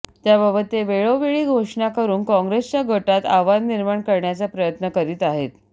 त्याबाबत ते वेळोवेळी घोषणा करून काँग्रेसच्या गोटात आव्हान निर्माण करण्याचा प्रयत्न करीत आहेत